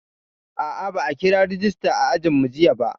A'a, ba a kira rejista a ajinmu jiya ba.